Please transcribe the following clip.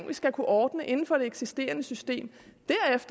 vi skal kunne ordne inden for det eksisterende system